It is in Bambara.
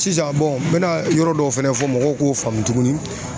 Sisan n bɛna yɔrɔ dɔw fɛnɛ fɔ mɔgɔw k'o faamu tuguni